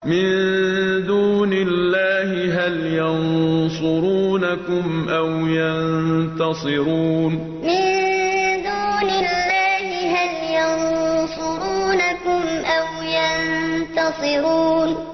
مِن دُونِ اللَّهِ هَلْ يَنصُرُونَكُمْ أَوْ يَنتَصِرُونَ مِن دُونِ اللَّهِ هَلْ يَنصُرُونَكُمْ أَوْ يَنتَصِرُونَ